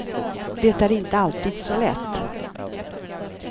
Det är inte alltid så lätt.